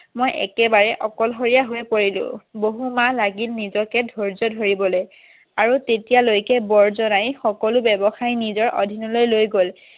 মই একেবাৰে অকলশৰীয়া হৈ পৰিলোঁ বহু মাহ লাগিল নিজকে ধৈৰ্য ধৰিবলৈ আৰু তেতিয়া লৈকে বৰজনাই সকলো ব্যবসায় নিজৰ অধীনলৈ লৈ গ'ল